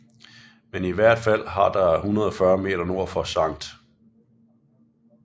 Men i hvert fald har der 140 meter nord for Skt